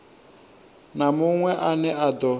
na munwe ane a do